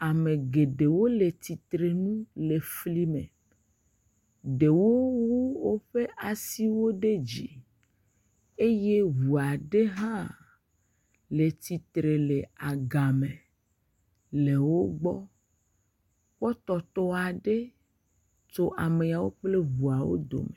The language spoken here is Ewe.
Ame geɖewo le tsitrenu le flime. Ɖewo wu woƒe asiwo ɖe dzi. Eye ŋu aɖe hã le titre le agame le wogbɔ. Kpɔtɔtɔ aɖe tso ameawo kple ŋuawo dome.